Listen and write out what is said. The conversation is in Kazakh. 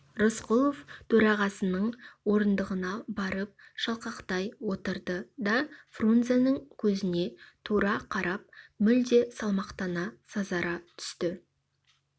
рысқұлов төрағасының орындығына барып шалқақтай отырды да фрунзенің көзіне тура қарап мүлде салмақтана сазара түсті